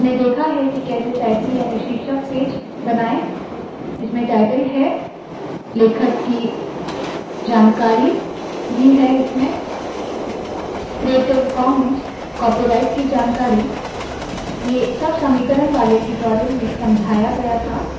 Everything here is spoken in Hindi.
हमने देखा है के कैसे टाइटल याने शीर्षक पेज बनाए इसमें टाइटल है लेखक की जानकारी क्रिएटिव कॉमन्स कॉपीराइट की जानकारी ये सब समीकरण वाले ट्यूटोरियल में समझाया गया था